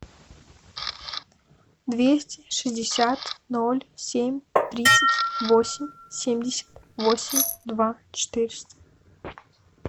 двести шестьдесят ноль семь тридцать восемь семьдесят восемь два четыреста